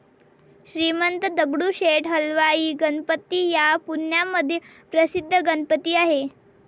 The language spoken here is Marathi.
श्रीमंत दगडूशेठ हलवाई गणपती हा पुण्यामधील प्रसिद्ध गणपती आहे.